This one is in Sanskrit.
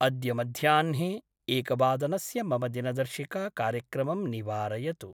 अद्य मध्याह्ने एकवादनस्य मम दिनदर्शिकाकार्यक्रमं निवारयतु।